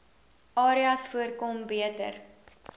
areas voorkom beter